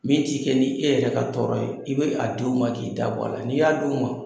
Min t'i kɛ ni 'e yɛrɛ ka tɔɔrɔ ye , i bɛ a d'u ma k'i dabɔ a la ,n'i y'a d' u ma